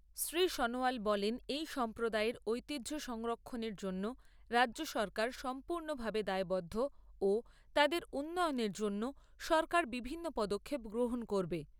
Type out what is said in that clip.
শ্রী সনোয়াল বলেন এই সম্প্রদায়ের ঐতিহ্য সংরক্ষণের জন্য রাজ্যসরকার সম্পূর্ণভাবে দায়বদ্ধ ও তাদের উন্নয়নের জন্য সরকার বিভিন্ন পদক্ষেপ গ্রহণ করবে।